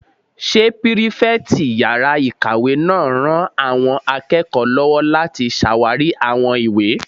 Ṣé pírífẹ̀tì yàrá-ìkàwé náà ran àwọn akẹ́kọ̀ọ́ lọ́wọ́ láti ṣàwarí àwọn ìwé?